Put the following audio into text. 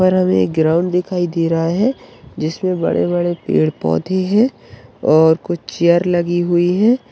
और हमें एक ग्राउंड दिखाई दे रहा है जिसमे बड़े-बड़े पेड़ पौधे है और कुछ चेयर लगी हुई है।